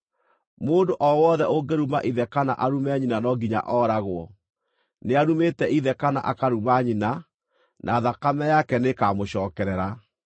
“ ‘Mũndũ o wothe ũngĩruma ithe kana arume nyina, no nginya ooragwo. Nĩarumĩte ithe kana akaruma nyina, na thakame yake nĩĩkamũcookerera.